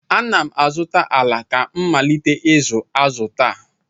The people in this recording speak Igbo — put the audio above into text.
Ana m azụta ala ka m malite ịzụ azụ taa.